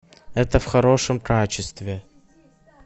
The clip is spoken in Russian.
это в хорошем качестве